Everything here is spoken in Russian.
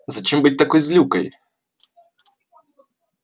зачем быть такой злюкой